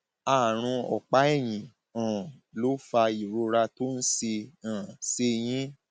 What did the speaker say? àrùn ọpá ẹyìn um ló fa ìrora tó ń ṣe ń ṣe yín